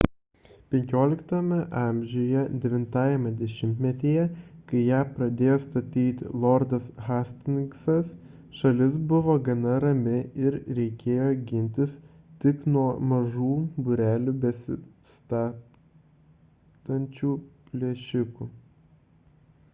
xv a 9-ajame dešimtmetyje kai ją pradėjo statyti lordas hastingsas šalis buvo gana rami ir reikėjo gintis tik nuo mažų būrelių besibastančių plėšikų